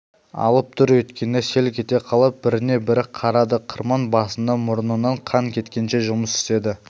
алып дүр еткенде селк ете қалып біріне-бірі қарады қырман басында мұрнынан қан кеткенше жұмыс істеді